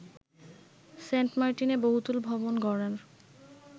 সেন্টমার্টিনে বহুতল ভবন গড়ার